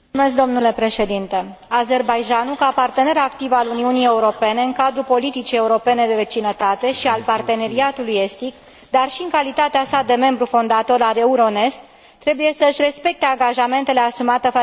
Azerbaidjanul, ca partener activ al Uniunii Europene în cadrul politicii europene de vecinătate și al Parteneriatului Estic, dar și în calitatea sa de membru fondator al Euronest, trebuie să și respecte angajamentele asumate față de Uniunea Europeană.